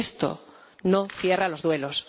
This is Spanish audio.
Y esto no cierra los duelos.